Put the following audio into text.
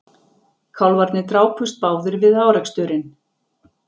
Kálfarnir drápust báðir við áreksturinn